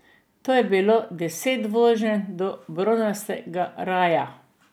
To je bilo deset voženj do bronastega raja.